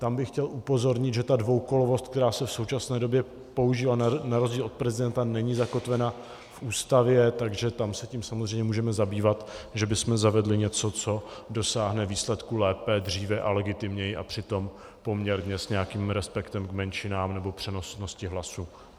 Tam bych chtěl upozornit, že ta dvoukolovost, která se v současné době používá, na rozdíl od prezidenta není zakotvena v Ústavě, takže tam se tím samozřejmě můžeme zabývat, že bychom zavedli něco, co dosáhne výsledku lépe, dříve a legitimněji a přitom poměrně s nějakým respektem k menšinám nebo přenosnosti hlasu.